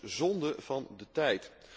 Dit is dus zonde van de tijd.